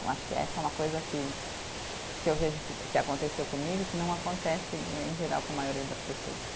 Eu acho que essa é uma coisa que, que eu vejo que que aconteceu comigo e que não acontece em geral com a maioria das pessoas.